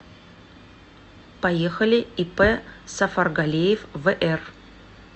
поехали ип сафаргалеев вр